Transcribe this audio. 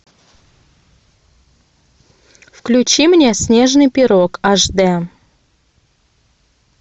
включи мне снежный пирог аш д